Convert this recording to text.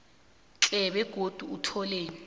tle begodu utlole